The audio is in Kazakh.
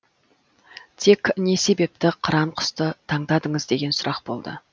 тек не себепті қыран құсты таңдадыңыз деген сұрақ болды